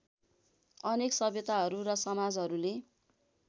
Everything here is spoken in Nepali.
अनेक सभ्यताहरू र समाजहरूले